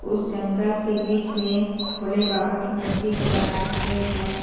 उस जंगल के बीच में भोले बाबा के मूर्ति को बनाए हुए है।